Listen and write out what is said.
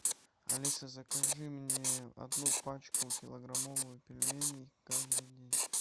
алиса закажи мне одну пачку килограммовую пельменей каждый день